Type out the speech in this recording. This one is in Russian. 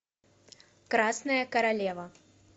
красная королева